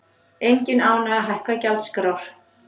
Engin ánægja að hækka gjaldskrár